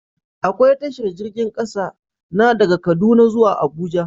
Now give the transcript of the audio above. Akwai tashar jirgin ƙasa, na daga kaduna zuwa abuja